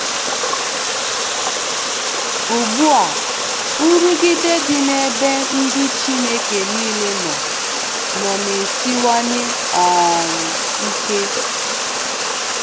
Ugbua, nrụgide dị n'ebe ndị Chineke nile nọ nọ na-esiwanye um ike.